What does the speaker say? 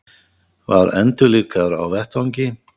Var endurlífgaður á vettvangi